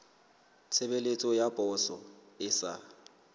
tshebeletso ya poso e sa